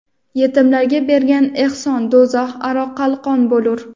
Yetimlarga bergan ehson do‘zax aro qalqon bo‘lur.